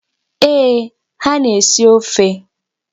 Eeh, ha na-esi ofe.